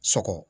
Sɔgɔ